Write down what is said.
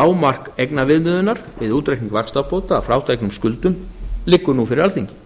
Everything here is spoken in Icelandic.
lágmark eignaviðmiðunar við útreikning vaxtabóta að frádregnum skuldum liggur nú fyrir alþingi